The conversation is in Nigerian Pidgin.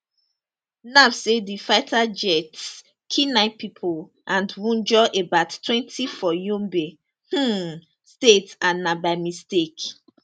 naf say di fighter jets kill 9 pipo and wunjure abouttwentyfor yobe um state and na by mistake